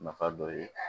Nafa dɔ ye